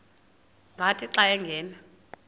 wathi xa angena